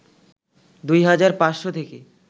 ২ হাজার ৫শ’ থেকে